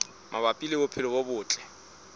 mabapi le bophelo bo botle